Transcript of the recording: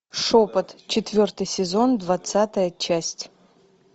шепот четвертый сезон двадцатая часть